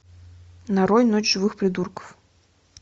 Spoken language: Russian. нарой ночь живых придурков